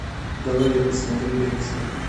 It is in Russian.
давай я посмотрю лекцию